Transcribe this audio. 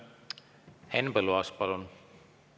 Henn Põlluaas, palun!